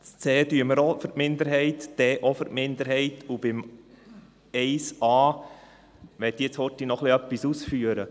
Bei c und d stimmen wir auch für die Minderheit, und zu 1a möchte ich noch kurz etwas ausführen.